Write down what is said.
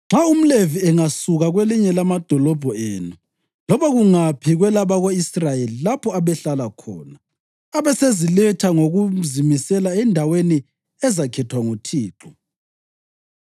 Nxa umLevi angasuka kwelinye lamadolobho enu loba kungaphi kwelabako-Israyeli lapho abehlala khona, abeseziletha ngokuzimisela endaweni ezakhethwa nguThixo,